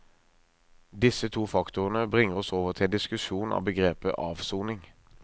Disse to faktorene bringer oss over til en diskusjon av begrepet avsoning.